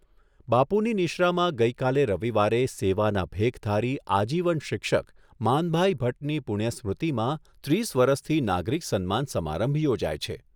બાપુની નિશ્રામાં ગઈકાલે રવિવારે સેવાના ભેખધારી આજીવન શિક્ષક માનભાઈ ભટ્ટની પુણ્ય સ્મૃતિમાં ત્રીસ વરસથી નાગરિક સન્માન સમારંભ યોજાય છે.